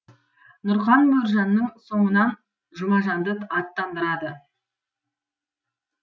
нұрқан мөржанның соңынан жұмажанды аттандырады